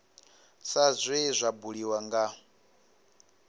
sa zwe zwa buliwa nga